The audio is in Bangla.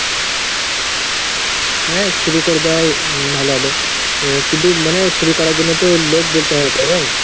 হ্যাঁ, শুরু করে দেওয়াই ভালো হবে। এ কিন্তু মানে শুরু করার জন্য তো লোক বলতে হয় তালে !